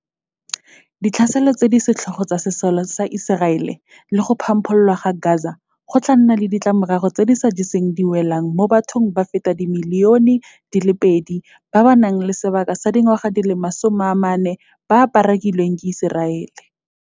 Ditlhaselo tse di setlhogo tsa sesole sa Iseraele le go phamphololwa ga Gaza go tla nna le ditlamorago tse di sa jeseng diwelang mo bathong ba feta dimilione di le pedi ba ba nang le sebaka sa dingwaga di le 14 ba parakilweng ke Iseraele.